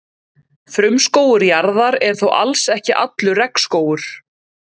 Frumskógur jarðar er þó alls ekki allur regnskógur.